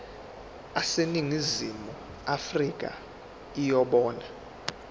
aseningizimu afrika yibona